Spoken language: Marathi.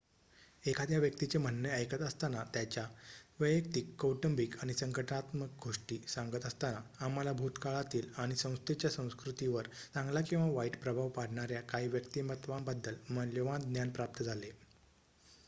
एखाद्या व्यक्तीचे म्हणणे ऐकत असताना त्यांच्या वैयक्तिक कौटुंबिक आणि संघटनात्मक गोष्टी सांगत असताना आम्हाला भूतकाळातील आणि संस्थेच्या संस्कृतीवर चांगला किंवा वाईट प्रभाव पाडणार्‍या काही व्यक्तिमत्त्वांबद्दल मौल्यवान ज्ञान प्राप्त झाले